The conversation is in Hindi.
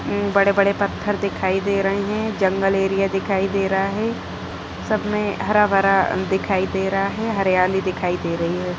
बड़े बड़े पत्थर दिखाई दे रहे है जंगल एरिया दिखाई दे रहा है सब मे हरा-भरा दिखाई दे रहा है हरियाली दिखाई दे रही है।